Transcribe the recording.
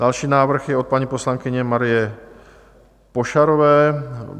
Další návrh je od paní poslankyně Marie Pošarové.